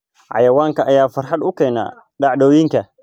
Xayawaanka ayaa farxad u keena dhacdooyinka.